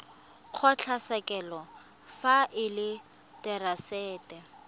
kgotlatshekelo fa e le therasete